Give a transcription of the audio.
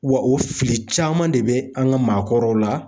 Wa o fili caman de bɛ an ka maakɔrɔw la